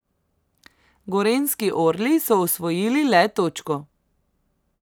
Gorenjski orli so osvojili le točko.